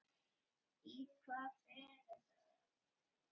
Í hvað fer þetta þá?